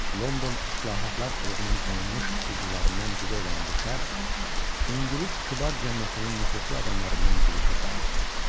London Islahatlar Klubunun tanınmış üzvlərindən biri olan bu şəxs İngilis kübar cəmiyyətinin nüfuzlu adamlarından biri hesab olunurdu.